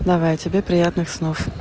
давай тебе приятных снов